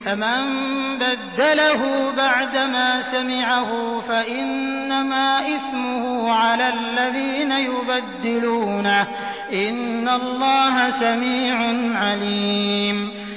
فَمَن بَدَّلَهُ بَعْدَمَا سَمِعَهُ فَإِنَّمَا إِثْمُهُ عَلَى الَّذِينَ يُبَدِّلُونَهُ ۚ إِنَّ اللَّهَ سَمِيعٌ عَلِيمٌ